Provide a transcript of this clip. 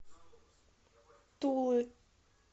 тулы